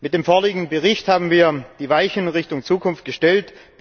Mit dem vorliegenden Bericht haben wir die Weichen Richtung Zukunft gestellt.